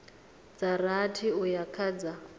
dza rathi uya kha dza